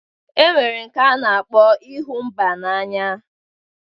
E nwere nke a na-akpọ ịhụ mba n'anya.